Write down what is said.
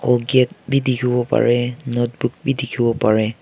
bucket bi dikhiwo parae notebook bi dikhiwoparae.